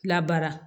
Labaara